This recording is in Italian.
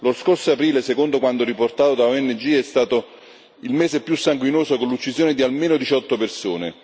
Lo scorso aprile, secondo quanto riportato da ONG, è stato il mese più sanguinoso, con l'uccisione di almeno diciotto persone.